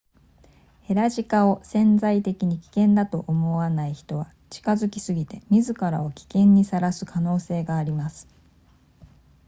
ヘラジカを潜在的に危険だと思わない人は近づきすぎて自らを危険にさらす可能性があります